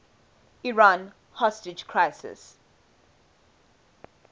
iran hostage crisis